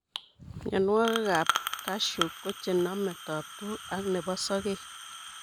Mionwokikab cashew ko chenome taptok ak nebo sokek